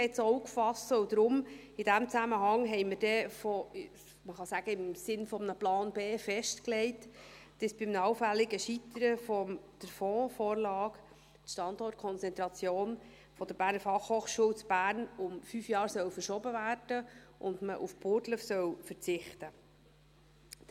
Deshalb haben wir dann in diesem Zusammenhang – man könnte sagen, im Sinne eines Plans B – festgelegt, dass bei einem allfälligen Scheitern der Fondsvorlage die Standortkonzentration der BFH in Bern um fünf Jahre verschoben werden soll und man auf Burgdorf verzichten soll.